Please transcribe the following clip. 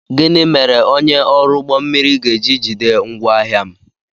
Gịnị mere onye ọrụ ụgbọ mmiri ga-eji jide ngwaahia m?